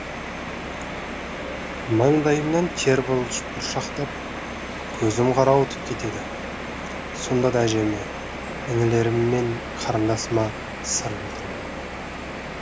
маңдайымнан тер бұршақтап көзім қарауытып кетеді сонда да әжеме інілерім мен қарындасыма сыр білдірмеймін